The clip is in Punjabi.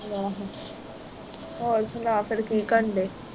ਹੋਰ ਸੁਣਾ ਫਿਰ ਕੀ ਕਰਨ ਦੇ?